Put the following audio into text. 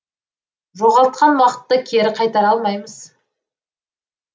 жоғалтқан уақытты кері қайтара алмаймыз